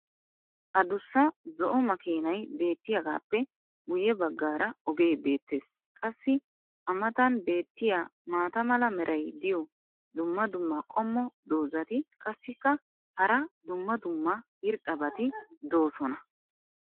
Addussa zo"o makkiinay beetiyaagaappe guye bagaara ogee beetees. qassi a matan beetiya maata mala meray diyo dumma dumma qommo dozzati qassikka hara dumma dumma irxxabati doosona.